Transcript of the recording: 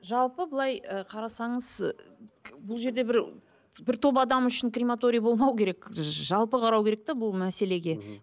жалпы былай ы қарасаңыз бұл жерде бір бір топ адам үшін крематорий болмау керек жалпы қарау керек те бұл мәселеге мхм